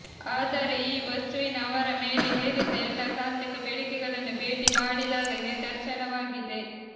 ಆದರೆ ಈ ವಸ್ತುವಿನ ಅವರ ಮೇಲೆ ಹೇರಿದ್ದ ಎಲ್ಲಾ ತಾಂತ್ರಿಕ ಬೇಡಿಕೆಗಳನ್ನು ಭೇಟಿ ಮಾಡಿದಾಗ ನಿದರ್ಶನವಾಗಿದೆ